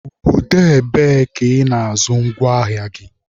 Obodo ebee ka Ị na-azụ ngwa ahịa gị?